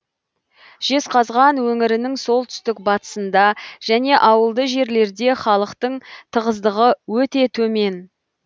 жезқазған өңірінің солтүстік батысыңда және ауылды жерлерде халықтың тығыздығы өте төмен